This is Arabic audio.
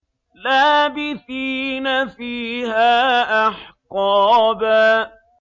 لَّابِثِينَ فِيهَا أَحْقَابًا